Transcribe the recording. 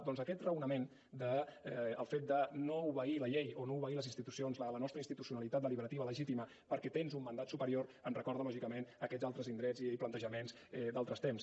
doncs aquest raonament el fet de no obeir la llei o no obeir les institucions la nostra institucionalitat deliberativa legítima perquè tens un mandat superior em recorda lògicament a aquests altres indrets i plantejaments d’altres temps